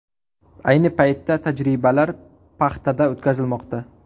Ayni paytda tajribalar paxtada o‘tkazilmoqda.